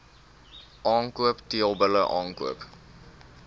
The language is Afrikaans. aankoop teelbulle aankoop